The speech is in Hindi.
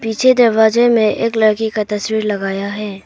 पीछे दरवाजे में एक लड़की का तस्वीर लगाया है।